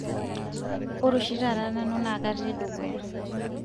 ore oshi taata nanu na katii dukuya